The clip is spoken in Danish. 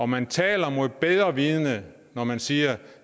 man taler mod bedre vidende når man siger